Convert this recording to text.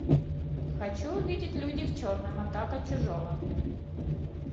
хочу увидеть люди в черном атака чужого